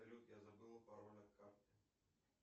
салют я забыла пароль от карты